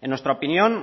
en nuestra opinión